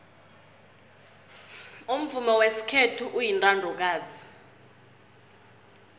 umvumo wesikhethu uyintandokazi